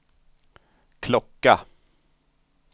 klocka